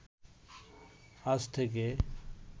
আজ থেকে